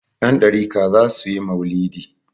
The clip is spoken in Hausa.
Yandariƙa za su yi mau'lidi.